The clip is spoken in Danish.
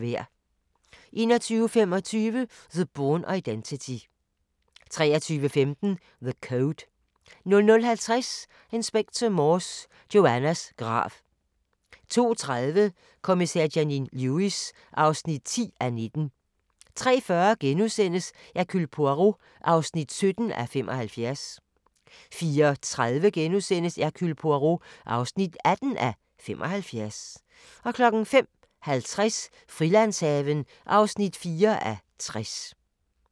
21:25: The Bourne Identity 23:15: The Code 00:50: Inspector Morse: Joannas grav 02:30: Kommissær Janine Lewis (10:19) 03:40: Hercule Poirot (17:75)* 04:30: Hercule Poirot (18:75)* 05:50: Frilandshaven (4:60)